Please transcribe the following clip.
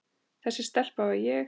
Þessi stelpa var ég.